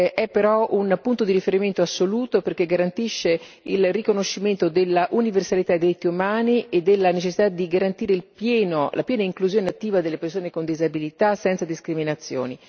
è però un punto di riferimento assoluto perché garantisce il riconoscimento dell'universalità dei diritti umani e della necessità di garantire la piena inclusione attiva delle persone con disabilità, senza discriminazioni.